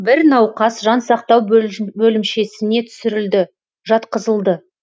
бір науқас жансақтау бөлімшесіне түсірілді жатқызылды